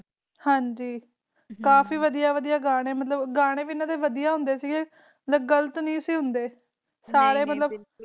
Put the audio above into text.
ਹਨਜੀ, ਕਾਫੀ ਵਾਦੀਆਂ ਵਾਦੀਆਂ ਗਾਣਾ ਮਤਲਬ ਕਿ ਗਾਣੇ ਵੀ ਇਹਦਾ ਡੇ ਕਿ ਜੋ ਗ਼ਲਤ ਨਹੀਂ ਸੇ ਹੁੰਦੇ